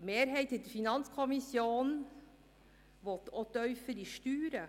Die Mehrheit der FiKo will auch tiefere Steuern.